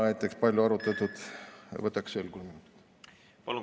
Näiteks on palju arutletud riigikaitseliste küsimuste üle.